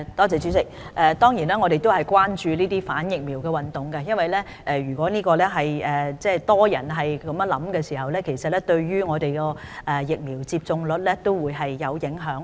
主席，我們當然關注反疫苗運動，因為如果很多人有這種想法，對疫苗接種率會有影響。